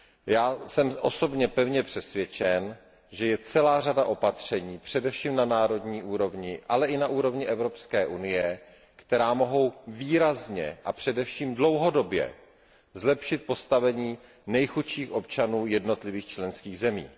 Já jsem osobně pevně přesvědčen, že je celá řada opatření, především na národní úrovni, ale i na úrovni Evropské unie, která mohou výrazně a především dlouhodobě zlepšit postavení nejchudších občanů jednotlivých členských zemí.